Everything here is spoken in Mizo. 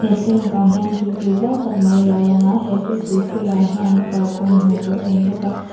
thlalak ah hian tuipui zau tak mai a lo lang a he tuipui sirah hian kalkawng hmuh tur a awm bawka.